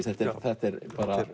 þetta er þetta er